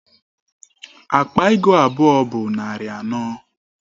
Akpa ego abụọ bụ narị anọ.